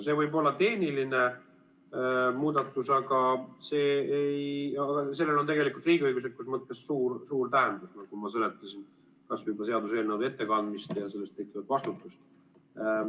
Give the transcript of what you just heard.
See võib olla tehniline muudatus, aga sellel on tegelikult riigiõiguslikus mõttes suur tähendus, nagu ma seletasin, kas või juba seaduseelnõude ettekandmine ja sellest tekkiv vastutus.